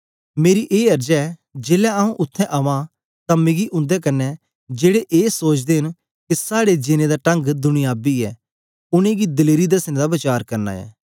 मेरी ए अर्ज ऐ जेलै आंऊँ उत्थें अवां तां मिगी उन्दे कन्ने जेड़े ए सोचते न के साड़े जीनें दा टंग दुनियाबी ऐ उनेंगी दलेरी द्सने दा वचार करना ऐं